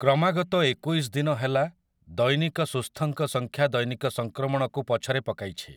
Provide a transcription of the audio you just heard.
କ୍ରମାାଗତ ଏକୋଇଶ ଦିନ ହେଲା ଦୈନିକ ସୁସ୍ଥଙ୍କ ସଂଖ୍ୟା ଦୈନିକ ସଂକ୍ରମଣକୁ ପଛରେ ପକାଇଛି ।